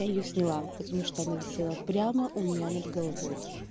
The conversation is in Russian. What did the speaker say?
я её сняла потому что она висела прямо у меня над головой